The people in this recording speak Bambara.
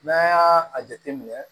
N'an y'a a jateminɛ